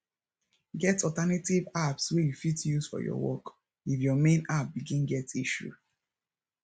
get alternative apps wey you fit use for your work if your main app begin get issue